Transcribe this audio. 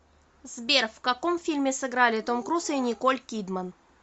сбер в каком фильме сыграли том круз и николь кидман